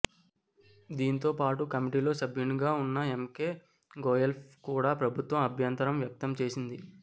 దీంతో పాటు కమిటీలో సభ్యునిగా ఉన్న ఎంకె గోయల్పై కూడా ప్రభుత్వం అభ్యంతరం వ్యక్తం చేసింది